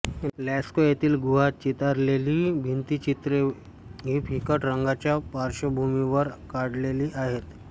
Lascaux येथील गुहात चितारलेली भित्तिचित्रे ही फिकट रंगाच्या पार्श्वभूमीवर काढलेली आहेत